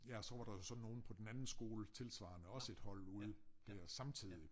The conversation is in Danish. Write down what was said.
Ja og så var der så nogen på den anden skole tilsvarende også et hold ude dér samtidig